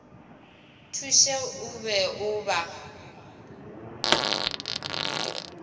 thuše o be o ba